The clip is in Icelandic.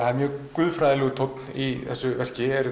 guðfræðilegur tónn í þessu verki er